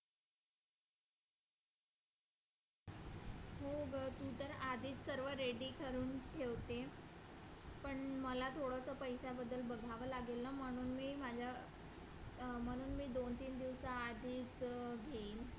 हो ग तू तर आधीच सर्व ready करून ठेवते पण मला थोडंसं पैशाबद्दल बघावं लागेल ना म्हणून मी माझ्या म्हणून मी दोन-तीन दिवसाआधी घेईन,